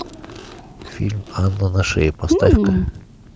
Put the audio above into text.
фильм анна на шее поставь ка